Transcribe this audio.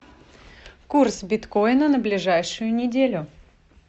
курс биткоина на ближайшую неделю